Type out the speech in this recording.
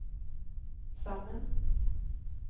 sammen